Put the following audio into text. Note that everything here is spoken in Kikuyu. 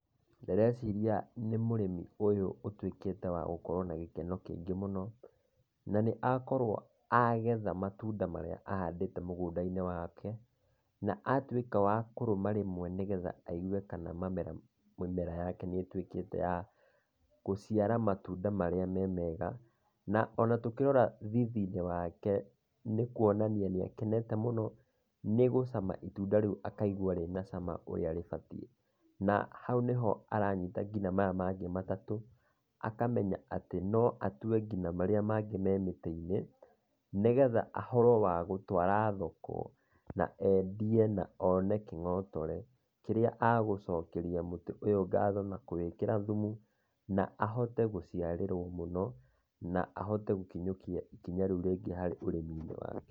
Ndĩreciria nĩ mũrĩmi ũyũ ũtuĩkite wa gukorwo na gĩkeno kĩingĩ mũno. Na nĩ akorwo agetha matunda marĩa ahandĩte mũgũnda-inĩ wake, na atuĩka wa kũrũma rĩmwe nĩgetha aigue kana mĩmera yake nĩ ĩtuĩkite ya gũciara matunda marĩa me mega. Na ona tũkĩrora thithinĩ wake nĩkuonania nĩ akenete mũno nĩgũcama ĩtunda rĩu akaigua rĩ na cama ũrĩa rĩbatiĩ. Na hau nĩ ho aranyita nginya maya mangĩ matatũ akamenya atĩ no atue nginya marĩa mangĩ me mĩtĩ-inĩ nĩgetha ahote wa gũtwara thoko na endie na one kĩng'otore kĩrĩa egũcokeria mũtĩ ũyũ ngatho na kũwĩkĩra thumu na ahote gũcĩarĩrwo mũno na ahote gũkinyũkia ikinya rĩu rĩngĩ harĩ ũrĩmĩnĩ wake.